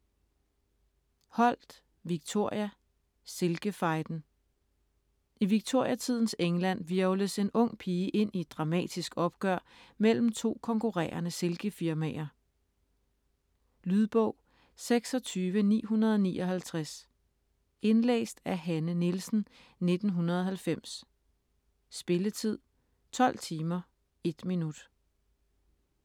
Holt, Victoria: Silkefejden I Victoriatidens England hvirvles en ung pige ind i et dramatisk opgør mellem to konkurrerende silkefirmaer. Lydbog 26959 Indlæst af Hanne Nielsen, 1990. Spilletid: 12 timer, 1 minut.